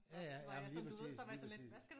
Ja ja jamen lige præcis lige præcis